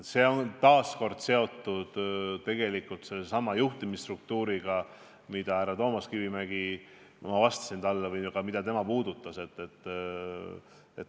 See on tegelikult taas seotud sellesama juhtimisstruktuuriga, millest ma härra Toomas Kivimägile vastates rääkisin või mida ka tema puudutas.